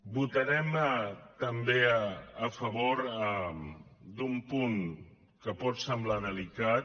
votarem també a favor d’un punt que pot semblar delicat